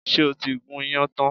Ṣé o ti gún iyán tán?